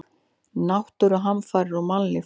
Náttúruhamfarir og mannlíf.